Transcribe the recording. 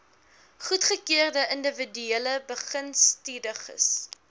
goedgekeurde indiwiduele begunstigdes